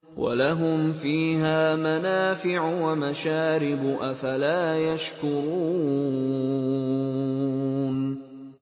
وَلَهُمْ فِيهَا مَنَافِعُ وَمَشَارِبُ ۖ أَفَلَا يَشْكُرُونَ